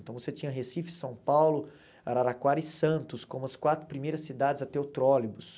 Então você tinha Recife, São Paulo, Araraquara e Santos como as quatro primeiras cidades a ter o trólebus.